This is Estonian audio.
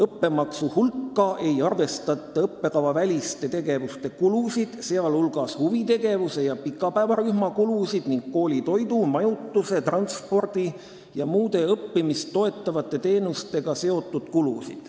Õppemaksu hulka ei arvata õppekavaväliste tegevuste kulusid, sealhulgas huvitegevuse ja pikapäevarühma kulusid ning koolitoidu, majutuse, transpordi ja muude õppimist toetatavate teenustega seotud kulusid."